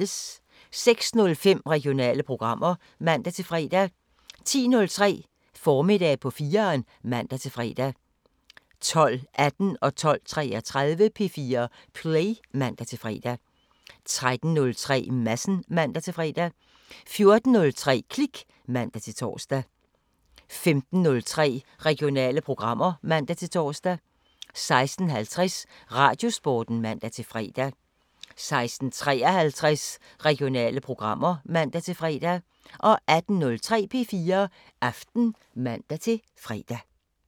06:05: Regionale programmer (man-fre) 10:03: Formiddag på 4'eren (man-fre) 12:18: P4 Play (man-fre) 12:33: P4 Play (man-fre) 13:03: Madsen (man-fre) 14:03: Klik (man-tor) 15:03: Regionale programmer (man-tor) 16:50: Radiosporten (man-fre) 16:53: Regionale programmer (man-fre) 18:03: P4 Aften (man-fre)